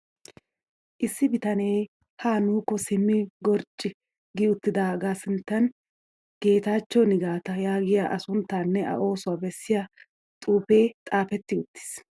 Issi bitanee ha nuukko simmi qorjju gi uttidaaga sinttan geetaachcho nigaata yaagiya A sunttaanne A oosuwaa bessiyaa xuupee xaapetti uttis.